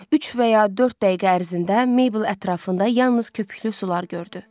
Üç və ya dörd dəqiqə ərzində Maybel ətrafında yalnız köpüklü sular gördü.